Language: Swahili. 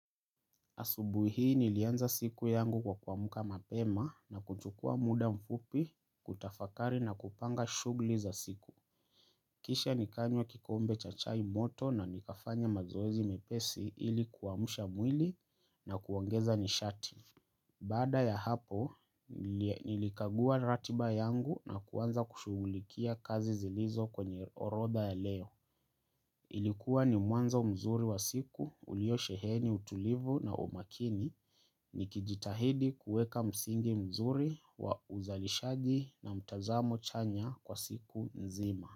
Asubuhi hii nilianza siku yangu kwa kuamka mapema na kuchukua muda mfupi kutafakari na kupanga shughuli za siku. Kisha nikanywa kikombe cha chai moto na nikafanya mazoezi mepesi ili kuamsha mwili na kuongeza nishati. Baada ya hapo, nilikagua ratiba yangu na kuanza kushughulikia kazi zilizo kwenye orodha ya leo. Ilikuwa ni mwanzo mzuri wa siku uliosheheni utulivu na umakini nikijitahidi kuweka msingi mzuri wa uzalishaji na mtazamo chanya kwa siku nzima.